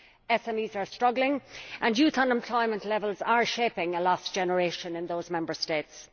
SMEs are struggling, and youth unemployment levels are shaping a lost generation in those Member States.